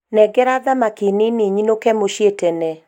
nengera thamaki nini nyinũke mũciĩ tene